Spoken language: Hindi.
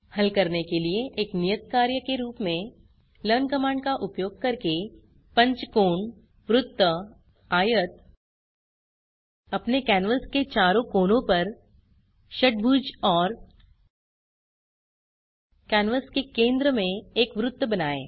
हल करने के लिए एक नियत कार्य के रूप में लर्न कमांड का उपयोग करके पंचभुज वृत्त आयत अपने कैनवास के चारों कोनों पर षट्भुज और कैनवास के केंद्र में एक वृत्त बनाएँ